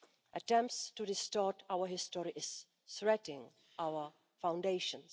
Attempts to distort our history are threatening our foundations.